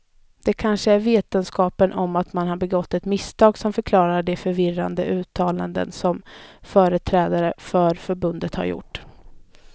Det kanske är vetskapen om att man har begått ett misstag som förklarar de förvirrade uttalanden som företrädare för förbundet har gjort.